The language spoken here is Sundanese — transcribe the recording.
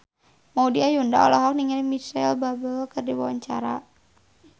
Maudy Ayunda olohok ningali Micheal Bubble keur diwawancara